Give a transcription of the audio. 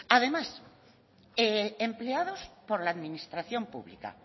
además empleados por la administración pública